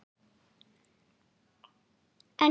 En hvernig kviknaði þessi hugmynd?